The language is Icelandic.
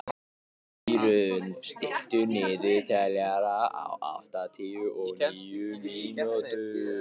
Írunn, stilltu niðurteljara á áttatíu og níu mínútur.